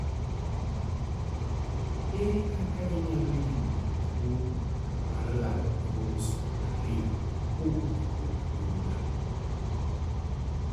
Ere kaka inyalo yudo tuowo mar lalo kromosom ariyo kowok kuom anyuola?